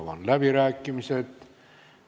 Avan läbirääkimised.